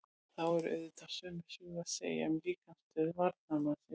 Þá er auðvitað sömu sögu að segja um líkamsstöðu varnarmannsins.